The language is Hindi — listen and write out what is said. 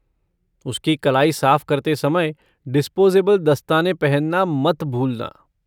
उसकी कलाई साफ करते समय डिस्पोजेबल दस्ताने पहनना मत भूलना।